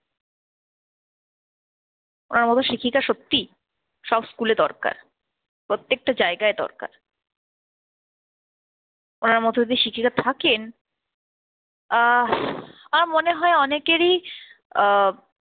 ওনার মত শিক্ষিকা সত্যি সব school এ দরকার, প্রত্যেকটা জায়গায় দরকার। ওনার মত যদি শিক্ষিকা থাকেন আহ আমার মনে হয় অনেকেরই আহ